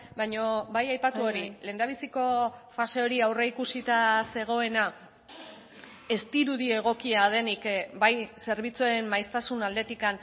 baina bai aipatu hori lehendabiziko fase hori aurreikusita zegoena ez dirudi egokia denik bai zerbitzuen maiztasun aldetik